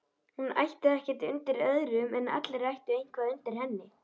Að hún ætti ekkert undir öðrum en allir ættu eitthvað undir henni.